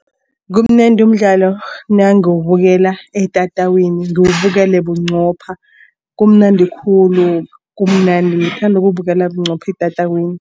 Kumnandi umdlalo nangiwubukela etatawini ngiwabukela bunqopha. Kumnandi khulu kumnandi ngithanda ukuwubukela bunqopha etatawini.